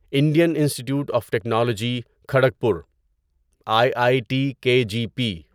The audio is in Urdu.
Indian institute of technology Kharagpur I I T K G P